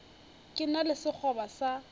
ke na le sekgoba sa